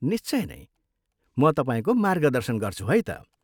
निश्चय नै, म तपाईँको मार्गदर्शन गर्छु है त।